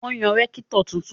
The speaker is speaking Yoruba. Wọ́n yan rẹ́kítọ̀ tuntun